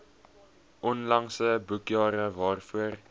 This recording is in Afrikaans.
onlangse boekjare waarvoor